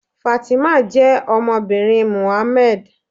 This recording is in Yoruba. Fátímọ̀ jẹ́ ọmọbìnrin Mohammed.